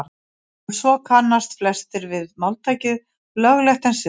og svo kannast flestir við máltækið „löglegt en siðlaust“